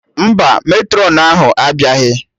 Mba, Matrọn ahụ abịaghị